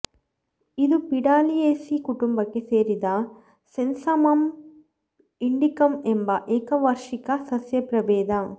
ಇದು ಪಿಡಾಲಿಯೇಸಿ ಕುಟುಂಬಕ್ಕೆ ಸೇರಿದ ಸೆಸ್ಸಾಮಮ್ ಇಂಡಿಕಮ್ ಎಂಬ ಏಕವಾರ್ಷಿಕ ಸಸ್ಯಪ್ರಭೇದ